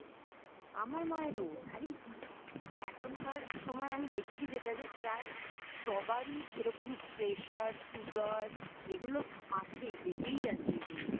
আরে আমার মায়ের ও আরে এখনকার সময় আমি দেখছি যেটা যে প্রায় সবারই এরকম Pressure Sugar এগুলো আছেই লেগেই আছে এগুলো